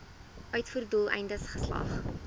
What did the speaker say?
uitvoer doeleindes geslag